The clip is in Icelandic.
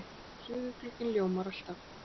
En suðurglugginn ljómar alltaf.